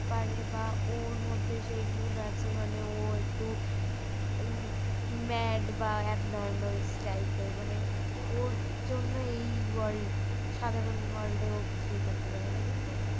পারে বা ওর মধ্যে সেই গুন্ আছে মানে ও একটু mad বা abnormals type এর ওর জন্যই এই world সাধারণ world ও কিছুই করতে পারবে না কিন্তু